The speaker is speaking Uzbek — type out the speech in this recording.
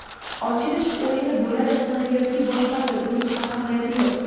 Ochilish o‘yini bo‘ladimi yoki boshqasi − buning ahamiyati yo‘q.